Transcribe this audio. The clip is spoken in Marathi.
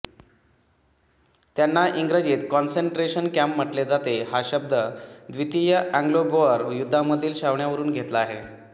त्यांना इंग्रजीत कॉन्सनट्रेशन कॅम्प म्हटले जाते व हा शब्द द्वितीय एंग्लोबोअर युद्धामधील छावण्यावरून घेतला गेला